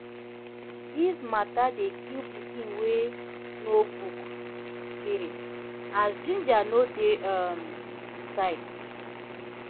dis mata dey kill pikin wey know book spirit as ginger no dey um e side